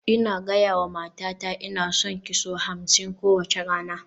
Ina gaya wa matata "Ina son ki" sau hamsin kowace rana